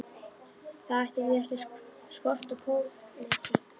Það ætti því ekki að skorta pólitík.